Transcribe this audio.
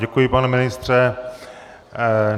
Děkuji, pane ministře.